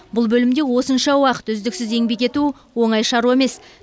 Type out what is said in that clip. бұл бөлімде осынша уақыт үздіксіз еңбек ету оңай шаруа емес